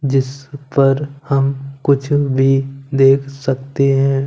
जिस पर हम कुछ भी देख सकते हैं।